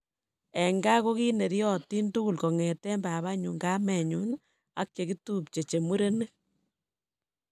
"En gaa kogineryotin tugul kong'eten babanyun, kamenyun ak chegitupche che murenik."